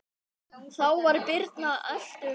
Þá var birnan ellefu vetra.